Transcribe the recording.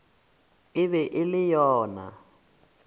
e be e le yona